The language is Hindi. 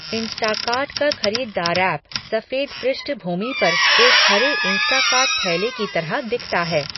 इंस्टाकार्ट का खरीदार ऐप सफेद पृष्ठभूमि पर एक हरे इंस्टाकार्ट थैले की तरह दिखता है।